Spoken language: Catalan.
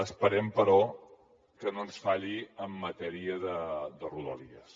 esperem però que no ens falli en matèria de rodalies